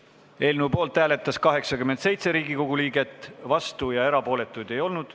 Hääletustulemused Poolt hääletas 87 Riigikogu liiget, vastuolijaid ja erapooletuid ei olnud.